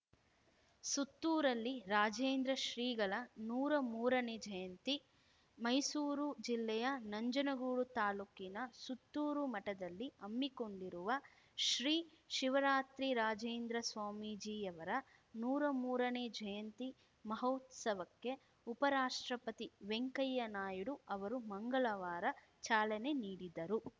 ಸುತ್ತೂರಲ್ಲಿ ರಾಜೇಂದ್ರ ಶ್ರೀಗಳ ನೂರಾ ಮೂರನೇ ಜಯಂತಿ ಮೈಸೂರು ಜಿಲ್ಲೆಯ ನಂಜನಗೂಡು ತಾಲೂಕಿನ ಸುತ್ತೂರು ಮಠದಲ್ಲಿ ಹಮ್ಮಿಕೊಂಡಿರುವ ಶ್ರೀ ಶಿವರಾತ್ರಿರಾಜೇಂದ್ರ ಸ್ವಾಮೀಜಿಯವರ ನೂರಾ ಮೂರನೇ ಜಯಂತಿ ಮಹೋತ್ಸವಕ್ಕೆ ಉಪರಾಷ್ಟ್ರಪತಿ ವೆಂಕಯ್ಯ ನಾಯ್ಡು ಅವರು ಮಂಗಳವಾರ ಚಾಲನೆ ನೀಡಿದರು